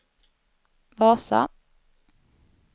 Vasa